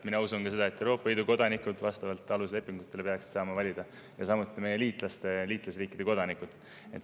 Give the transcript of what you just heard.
Mina usun seda, et ka Euroopa Liidu kodanikud peaksid saama vastavalt aluslepingutele valida, samuti meie liitlasriikide kodanikud.